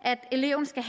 at eleven skal